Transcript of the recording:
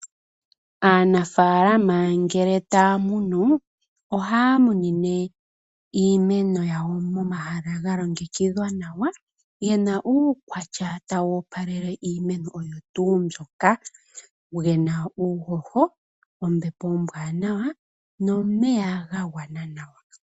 Aanafalama ngele taya munu, ohaya munine iimeno yawo momahala galongekidhwa nawa. Omahala gena uukwatya tawu opalele iimeno oyo tu ndjoka, gena uuhoho, ombepo ombwanawa nomeya ga gwana nawa.